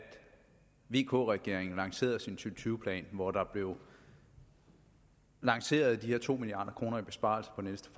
vk regeringen lancerede sin to tusind tyve plan hvor der blev lanceret de her to milliard kroner i besparelser for næste